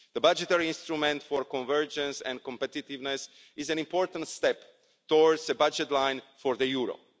The budgetary instrument for convergence and competitiveness is an important step towards a budget line for the euro.